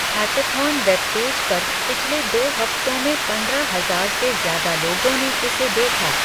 Hackathon webpage पर पिछले दो हफ्तों में पंद्रह हजार से ज्यादा लोगों ने इसे देखा।